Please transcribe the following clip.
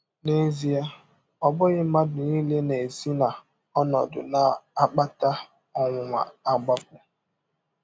N’ezie, ọ bụghị mmadụ nile na - esi n’ọnọdụ na - akpata ọnwụnwa agbapụ.